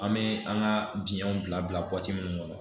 An bɛ an ka diɲɛw bila minnu kɔnɔ